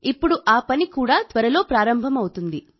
ఇప్పుడు ఆ పని కూడా త్వరలో ప్రారంభం అవుతుంది